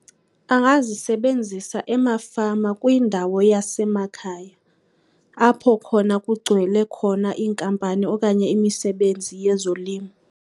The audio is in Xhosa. Angazisebenzisa emafama kwindawo yasemakhaya, apho khona kugcwele khona iinkampani okanye imisebenzi yezolimo.